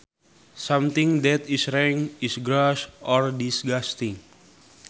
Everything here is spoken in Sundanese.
Something that is rank is gross or disgusting